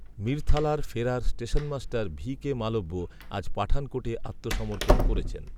মিরথালার ফেরার stationmaster V K Malviya আজ পাঠানকোটে আত্মসমর্পণ করেছেন